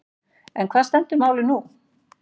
En hvar stendur málið nú?